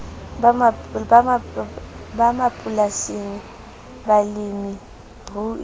ba mapolasing balemi rui le